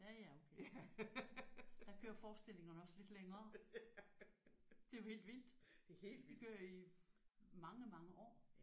Ja ja okay der kører forestillingerne også lidt længere. Det er jo helt vildt. De kører i mange mange år